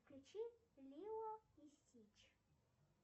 включи лило и стич